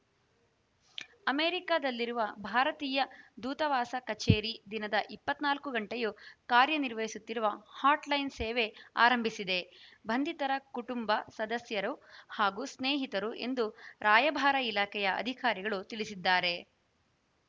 ಅಮೆರಿಕದಲ್ಲಿರುವ ಭಾರತೀಯ ದೂತಾವಾಸ ಕಚೇರಿ ದಿನದ ಇಪ್ಪತ್ತ್ ನಾಲ್ಕು ಗಂಟೆಯೂ ಕಾರ್ಯನಿರ್ವಹಿಸುವ ಹಾಟ್‌ಲೈನ್‌ ಸೇವೆ ಆರಂಭಿಸಿದೆ ಬಂಧಿತರ ಕುಟುಂಬ ಸದಸ್ಯರು ಹಾಗೂ ಸ್ನೇಹಿತರು ಎಂದು ರಾಯಭಾರ ಇಲಾಖೆಯ ಅಧಿಕಾರಿಗಳು ತಿಳಿಸಿದ್ದಾರೆ